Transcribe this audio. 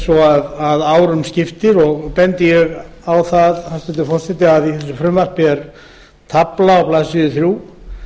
hafi dregist mjög á langinn ég bendi á að í frumvarpinu er tafla á blaðsíðu þrjú